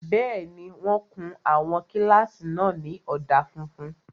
Bẹ́ẹ̀ni, wọ́n kun àwọn kílásì náà ní ọ̀dà funfun